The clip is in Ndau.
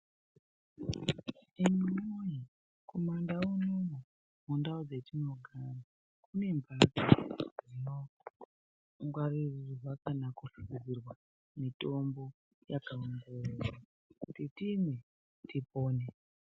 Hino Kumandau unono mundau dzetinogara kune mhatso dzinoso ngwarorirwa kana kuchengeterwa mutombo yakaomgororwa kuti timwe tipone.